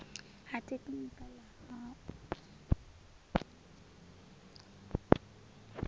ha tekhinikha ḽa ha u